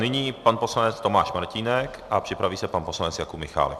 Nyní pan poslanec Tomáš Martínek a připraví se pan poslanec Jakub Michálek.